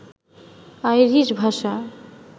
Irish ভাষা